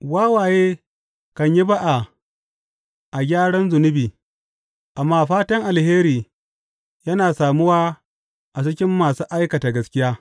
Wawaye kan yi ba’a a gyaran zunubi, amma fatan alheri yana samuwa a cikin masu aikata gaskiya.